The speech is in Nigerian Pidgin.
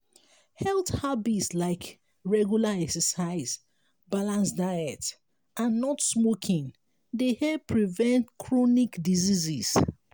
health habits like regular exercise balanced diet and not smoking dey help prevent chronic diseases.